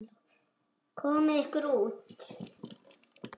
Komiði ykkur út!